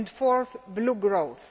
and fourth, blue growth.